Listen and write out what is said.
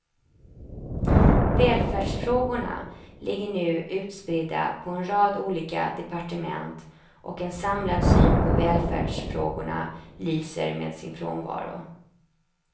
Välfärdsfrågorna ligger nu utspridda på en rad olika departement och en samlad syn på välfärdsfrågorna lyser med sin frånvaro.